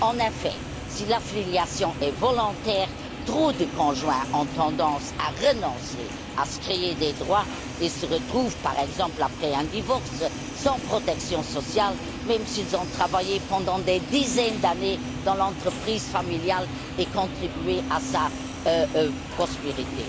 En effet, si l'affiliation est volontaire, trop de conjoints ont tendance à renoncer à se créer des droits et se retrouvent, par exemple après un divorce, sans protection sociale, même s'ils ont travaillé pendant des dizaines d'années dans l'entreprise familiale et contribué à sa prospérité.